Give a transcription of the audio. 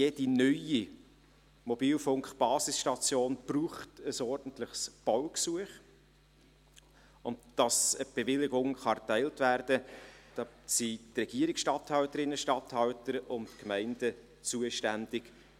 Jede neue Mobilfunk-Basisstation braucht ein ordentliches Baugesuch, und für die Erteilung der Bewilligung sind die Regierungsstatthalterinnen und -statthalter und die Gemeinden zuständig.